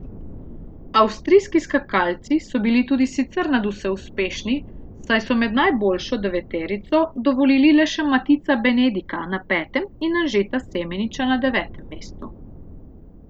Avstrijski skakalci so bili tudi sicer nadvse uspešni, saj so med najboljšo deveterico dovolili le še Matica Benedika na petem in Anžeta Semeniča na devetem mestu.